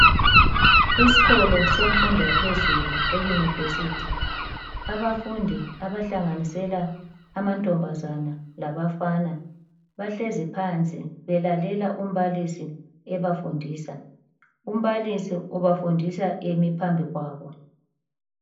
Isikolo semfundo yaphezulu eyunivesithi abafundi abahlanganisela amantombazana labafana bahlezi phansi belalela umbalisi ebafundisa. Umbalisi ubafundisa emi phambi kwabo.